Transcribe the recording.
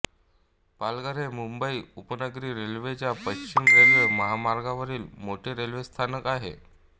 पालघर हे मुंबई उपनगरी रेल्वेच्या पश्चिम रेल्वे मार्गावरील मोठे रेल्वेस्थानक आहे